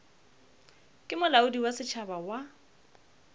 ke molaodi wa setšhaba wa